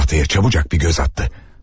Tahtaya çabucaq bir göz atdı.